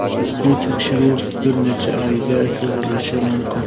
Bu tekshiruv bir necha oyga cho‘zilishi mumkin.